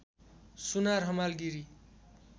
Sunar Hamal Giri